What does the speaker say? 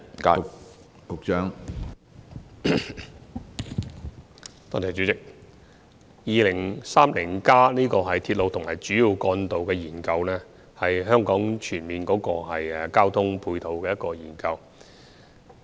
主席，《香港 2030+》的鐵路和主要幹道研究，是香港全面交通配套的研究。